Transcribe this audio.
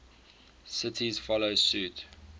cities follow suit